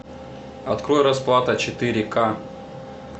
открой расплата четыре ка